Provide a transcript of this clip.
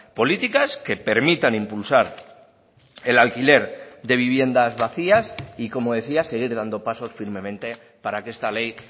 políticas que permitan impulsar el alquiler de viviendas vacías y como decía seguir dando pasos firmemente para que esta ley